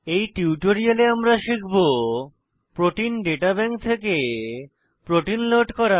এই টিউটোরিয়ালে আমরা শিখব প্রোটিন দাতা ব্যাংক থেকে প্রোটিন লোড করা